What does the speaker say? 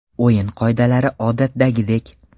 O‘yin qoidalari odatdagidek.